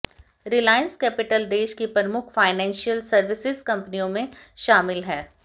Reliance Capital देश की प्रमुख फाइनेंशियल सर्विसेज कंपनियों में शामिल है